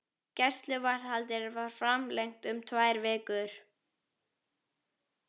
Gæsluvarðhaldið var framlengt um tvær vikur.